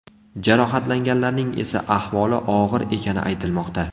Jarohatlanganlarning esa ahvoli og‘ir ekani aytilmoqda.